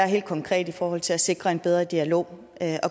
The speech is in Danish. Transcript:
helt konkret i forhold til at sikre en bedre dialog